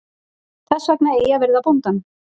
Þess vegna eigi að virða bóndann.